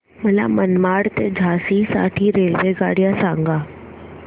मला मनमाड ते झाशी साठी रेल्वेगाड्या सांगा